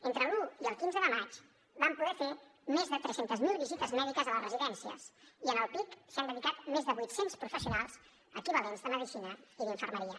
entre l’un i el quinze de maig vam poder fer més de tres cents miler visites mèdiques a les residències i en el pic s’hi han dedicat més de vuit cents professionals equivalents de medicina i d’infermeria